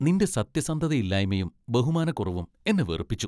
നിന്റെ സത്യസന്ധതയില്ലായ്മയും ബഹുമാനക്കുറവും എന്നെ വെറുപ്പിച്ചു.